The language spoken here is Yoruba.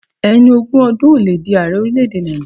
Ẹni ogún ọdún ò le di aarẹ orílẹ̀ èdè Nàìjíríà.